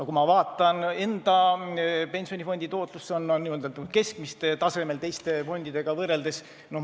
Kui ma vaatan oma pensionifondi tootlust, siis see on teiste fondidega võrreldes keskmisel tasemel.